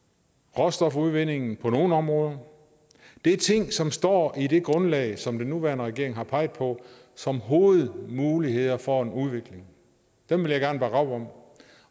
og råstofudvindingen på nogle områder det er ting som står i det grundlag som den nuværende regering har peget på som hovedmuligheder for en udvikling dem vil jeg gerne bakke op om